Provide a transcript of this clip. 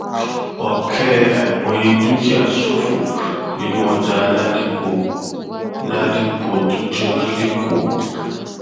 ọkẹ àìmọye dúkìá ṣòfò nínú ọjà ládìpọ ládìpọ tó jóná lẹkọọ